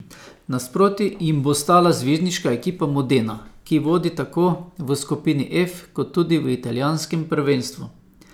Nasproti jim bo stala zvezdniška ekipa Modena, ki vodi tako v skupini F kot tudi v italijanskem prvenstvu.